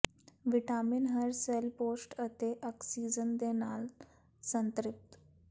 vitamin ਹਰ cell ਪੋਸ਼ਣ ਅਤੇ ਆਕਸੀਜਨ ਦੇ ਨਾਲ ਸੰਤ੍ਰਿਪਤ